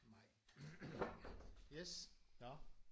Mai yes nåh